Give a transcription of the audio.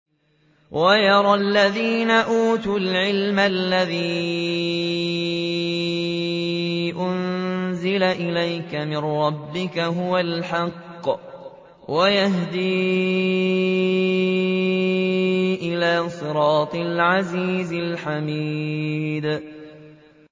وَيَرَى الَّذِينَ أُوتُوا الْعِلْمَ الَّذِي أُنزِلَ إِلَيْكَ مِن رَّبِّكَ هُوَ الْحَقَّ وَيَهْدِي إِلَىٰ صِرَاطِ الْعَزِيزِ الْحَمِيدِ